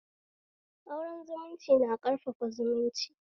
Auren zumunci na ƙarfafa zumunci